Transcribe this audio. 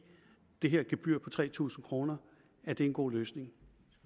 det her gebyr på tre tusind kroner er en god løsning